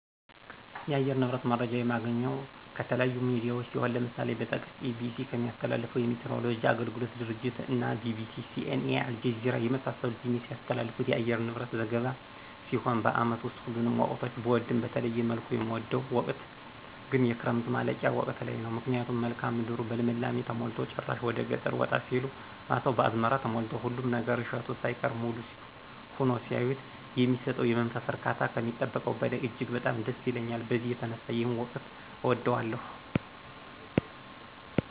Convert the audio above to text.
የአየር ንብረት መረጃ የማገኘው ከተለያዩ ሚዲያዎች ሲሆን ለምሳሌ ብጠቅስ EBC ከሚያስተላልፈው የሚቲይወሎጂ አገልግሎት ድርጅት እና BBC:CNA:አልጀዚራ የመሳሰሉት የሚያስተላልፉት የአየር ንብረት ዘገባ ሲሆን በአመት ውስጥ ሁሉንም ወቅቶች ብወድም በተለየ መልኩ የምወደው ወቅት ግን የክረምቱ ማለቂያ ወቅት ላይ ነው ምክንያቱም መልክአ ምድሩ በልምላሜ ተሞልቶ ጭራሽ ወደገጠር ወጣ ሲሉ ማሳው በአዝመራ ተሞልቶ ሁሉም ነገር እሸቱ ሳይቀር ሙሉ ሁኖ ሲያዩት የሚሰጠው የመንፈስ እርካታ ከሚጠበቀው በላይ እጅግ በጣም ደስ ይለኛል በዚህ የተነሳ ይሄን ወቅት እወደዋለሁ።